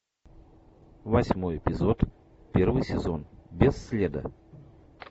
восьмой эпизод первый сезон без следа